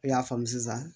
I y'a faamu sisan